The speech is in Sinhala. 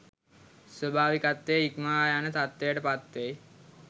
ස්වාභාවිකත්වය ඉක්මවා යන තත්ත්වයට පත්වෙයි